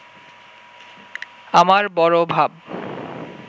আমার বড় ভাব